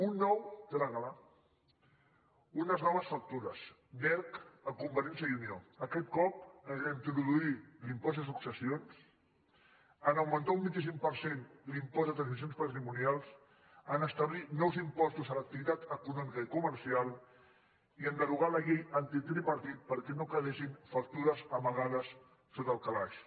un nou trágala unes noves factures d’erc a convergència i unió aquest cop en reintroduir l’impost de successions en augmentar un vint cinc per cent l’impost de transmissions patrimonials en establir nous impostos a l’activitat econòmica i comercial i en derogar la llei antitripartit perquè no quedessin factures amagades sota el calaix